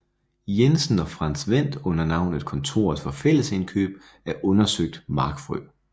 Jensen og Frantz Wendt under navnet Kontoret for Fællesindkøb af undersøgt Markfrø